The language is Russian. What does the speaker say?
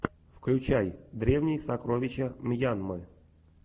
включай древние сокровища мьянмы